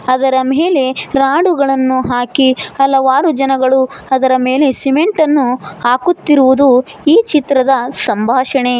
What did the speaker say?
ಅದರ ಮೇಲೆ ರಾಡುಗಳನ್ನು ಹಾಕಿ ಹಲವಾರು ಜನಗಳು ಅದರ ಮೇಲೆ ಸಿಮೆಂಟ್ ಅನ್ನು ಹಾಕುತ್ತಿರುವುದು ಈ ಚಿತ್ರದ ಸಂಭಾಷಣೆ.